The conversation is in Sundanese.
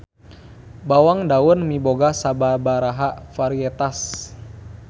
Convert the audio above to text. Bawang daun miboga sababaraha varietas.